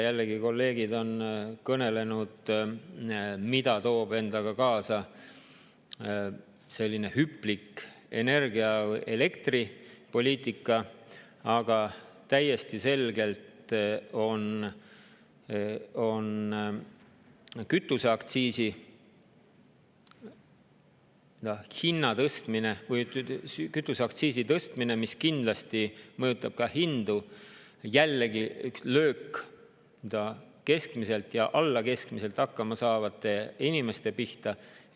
Jällegi, kolleegid on kõnelenud, mida toob endaga kaasa selline hüplik energia‑ või elektripoliitika, aga täiesti selgelt on kütuseaktsiisi tõstmine, mis kindlasti mõjutab ka hindu, jällegi üks löök, keskmiselt ja alla keskmiselt hakkama saavate inimeste pihta.